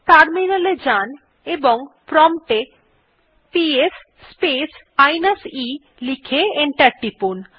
terminal এ যান এবং প্রম্পট এ পিএস স্পেস মাইনাস e লিখে এন্টার টিপুন